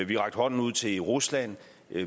vi har rakt hånden ud til rusland